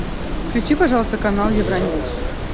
включи пожалуйста канал евроньюс